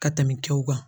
Ka tɛmɛ kɛw kan